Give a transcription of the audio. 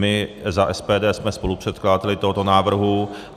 My za SPD jsme spolupředkladateli tohoto návrhu.